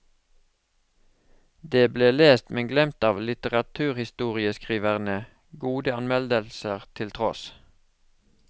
Det ble lest, men glemt av litteraturhistorieskriverne, gode anmeldelser til tross.